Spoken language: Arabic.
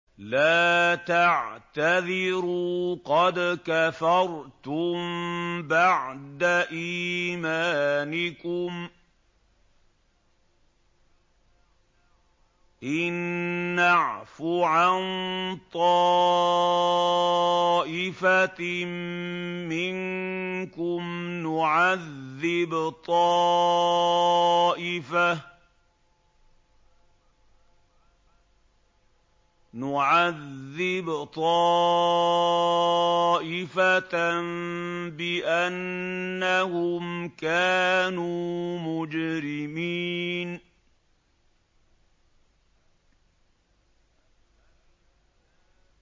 لَا تَعْتَذِرُوا قَدْ كَفَرْتُم بَعْدَ إِيمَانِكُمْ ۚ إِن نَّعْفُ عَن طَائِفَةٍ مِّنكُمْ نُعَذِّبْ طَائِفَةً بِأَنَّهُمْ كَانُوا مُجْرِمِينَ